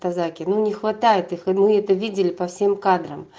закину не хватает их они это видели по всем кадр